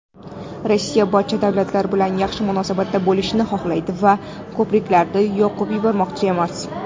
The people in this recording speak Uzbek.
"Rossiya barcha davlatlar bilan yaxshi munosabatda bo‘lishni xohlaydi va "ko‘priklarni yoqib yubormoqchi emas".